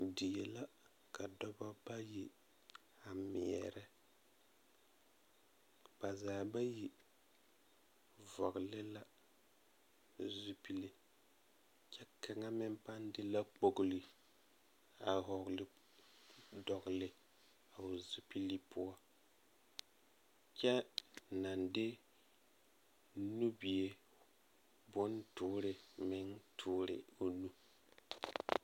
Die la ka dɔbɔ bayi a meɛrɛ ba zaa bayi vɔgle la zupili kyɛ kaŋa meŋ pãã de la kpɔgri a vɔgle dogeli o zupili poɔ kyɛ naŋ de nubia boŋ toore meŋ toore o nu.